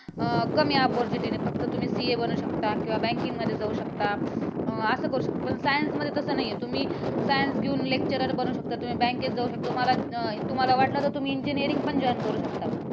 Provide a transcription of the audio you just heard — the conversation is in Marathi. अं कमी opportunity फक्त तुम्ही CA बनू शकता किंवा banking मध्ये जाऊ शकता. असं करू शकता science मध्ये तसं नाही आहे. science घेऊन lecturer बनू शकता तुम्ही bank त जाऊ शकता. तुम्हाला वाटलं तर तुम्ही engineering पण joint करू शकता.